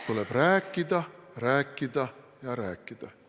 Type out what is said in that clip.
Tuleb rääkida, rääkida ja rääkida.